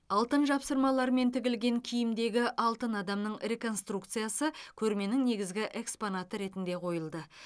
алтын жапсырмалармен тігілген киімдегі алтын адамның реконструкциясы көрменің негізгі экспонаты ретінде қойылды